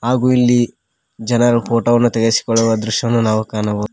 ಹಾಗು ಇಲ್ಲಿ ಜನರು ಫೋಟೋ ವನ್ನು ತೆಗೆಸಿಕೊಳ್ಳುವ ದೃಶ್ಯವನ್ನು ನಾವು ಕಾಣಬೋ--